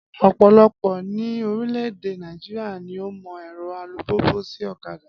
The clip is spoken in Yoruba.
Ọ̀pọ̀lọpọ̀ ní orílẹ̀ èdè Nàìjíríà ni ó mọ ẹ̀rọ alùpùpù sì ọ̀kadà